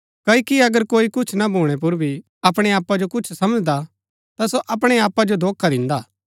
क्ओकि अगर कोई कुछ ना भूणै पर भी अपणै आपा जो कुछ समझदा ता सो अपणै आपा जो धोखा दिन्दा